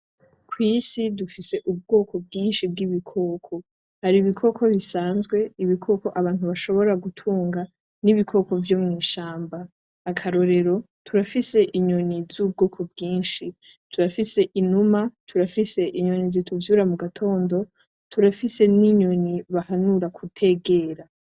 Kwisi dufise ubwoko bwinshi bwibikoko haribikoko bisanzwe, ibikoko abantu bashobora gutunga, nibikoko vyomwishamba. akarorero turafise inyoni zubwoko bwinshi, turafise inyoni, turafise inuma turafise inyoni zituvyura mugatondo, turafise ninyoni bahanura kutegera.